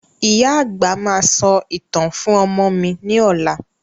Ìyá àgbà máa sọ ìtàn fún ọmọ mi ni ọ̀la